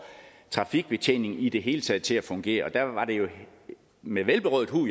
trafikbetjeningen i det hele taget til at fungere og der var det med velberåd hu